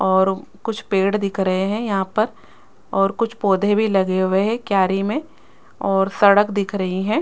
और कुछ पेड़ दिख रहे हैं यहां पर और कुछ पौधे भी लगे हुए हैं क्यारी में और सड़क दिख रही हैं।